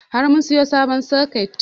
Har mun siyo sabon soket